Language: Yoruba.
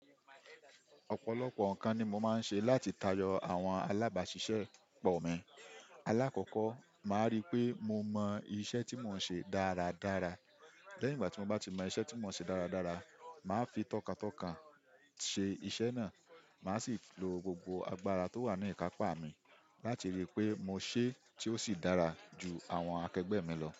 Ọ̀pọ̀lọpọ̀ nǹkan ni mo máa ń ṣe láti tayọ àwọn alábàáṣiṣẹ́ pọ̀ mi. Alákọ̀ọ́kọ́ máa ríi pé mo mọ iṣẹ́ tí mò ń ṣe dáradára. Lẹ́yìn ìgbà tí mo bá ti mọ iṣẹ́ tí mò ń ṣe dáradára, máa fi tọkàntọkàn ṣe iṣẹ́ náà, máa sì lo gbogbo agbára tó wà ní ìkápá mi láti ríi pé mo ṣe tí ó sì dára ju àwọn akẹgbẹ́ mi lọ.